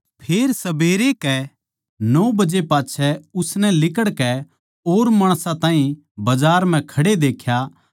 फेर सबेरै के नौ बजे पाच्छै उसनै लिकड़कै और माणसां ताहीं बजार म्ह खड़े देख्या